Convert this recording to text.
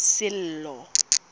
sello